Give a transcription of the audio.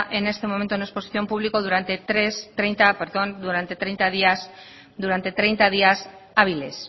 en este momento en exposición pública durante treinta días hábiles